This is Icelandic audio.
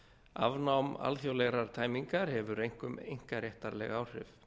afnám alþjóðlegrar tæmingar hefur einkum einkaréttarleg áhrif